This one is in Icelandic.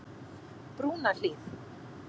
Brúnahlíð